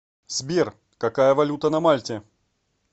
сбер какая валюта на мальте